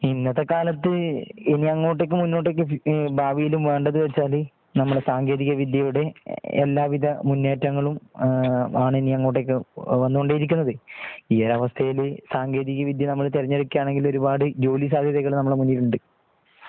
ഇന്നത്തെ കാലത്ത് ഇനി അങ്ങോട്ടേക്ക് മുന്നോട്ടേക്ക് ഭാവിയിലും വേണ്ടെന്ന് വെച്ചാല് നമ്മുടെ സാങ്കേതിക വിദ്യയുടെ എല്ലാ വിധ മുന്നേറ്റങ്ങളും ആണ് ഇനിയും അങ്ങോട്ടേക്ക് വന്നുകൊണ്ടിരിക്കുന്നത് ഈ ഒരു അവസ്ഥയൽ സാങ്കേതിക വിദ്യ നമ്മൾ തിരഞ്ഞ് എടുക്കുകയാണെങ്കിൽ ഒരുപാട് ജോലി സാധ്യതകൾ നമ്മുടെ മുന്നിലുണ്ട്